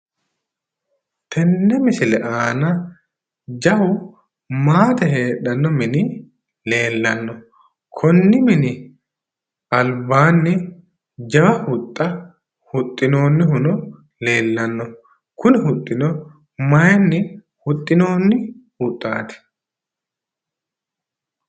Tenne misile aana jawu maate heedhanno mini leellanno. Konni mini albaanni jawa huxxa huxxinoonnihuno leellanno. Kuni huxxino mayinni huxxinoonni huxxaati?